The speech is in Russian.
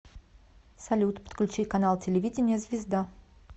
салют подключи канал телевидения звезда